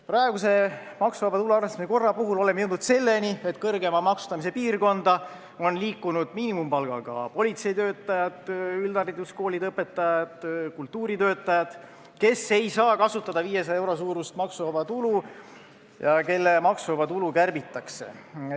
Praeguse maksuvaba tulu arvestamise korra puhul oleme jõudnud selleni, et kõrgema maksustamise piirkonda on liikunud ka miinimumpalgaga politseitöötajad, üldhariduskoolide õpetajad ja kultuuritöötajad, kes ei saa kasutada 500 euro suurust maksuvaba tulu ja kelle maksuvaba tulu kärbitakse.